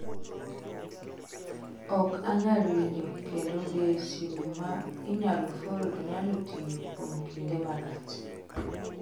Ok anyal winjo kendo Be simu ma inyalo fold nyalo tiyo kuom kinde malach?